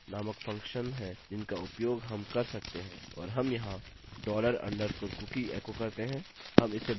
और हम यहाँ dollar underscore cookie एको करते हैं हम इसे बाद में अलाइन करेंगे